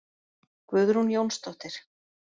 Guðrún Jónsdóttir.